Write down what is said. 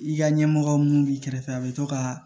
I ka ɲɛmɔgɔ mun b'i kɛrɛfɛ a bɛ to ka